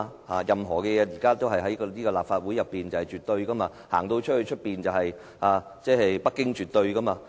現在任何事情在這個立法會內也是絕對的，外面則是北京是絕對的。